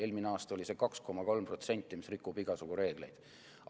Eelmine aasta oli see 2,3%, mis rikub igasuguseid reegleid.